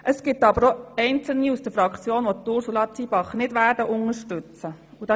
Es gibt aber auch Einzelne in unserer Fraktion, welche Ursula Zybach nicht unterstützen werden.